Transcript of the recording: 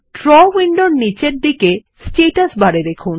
draw উইন্ডোর নীচের দিকে স্ট্যাটাস বার এ দেখুন